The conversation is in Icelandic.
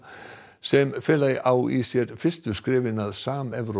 sem fela á í sér fyrstu skrefin að samevrópskum